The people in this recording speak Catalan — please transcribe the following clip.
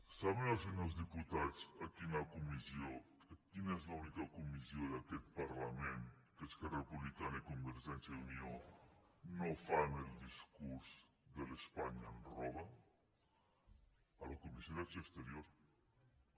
saben els senyors diputats quina és l’única comissió d’aquest parlament en què esquerra republicana i convergència i unió no fan el discurs de l’ espanya ens roba a la comissió d’acció exterior